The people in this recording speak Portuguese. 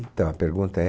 Então, a pergunta é?